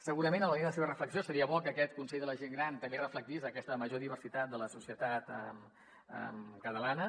segurament en la línia de seva reflexió seria bo que aquest consell de la gent gran també reflectís aquesta major diversitat de la societat catalana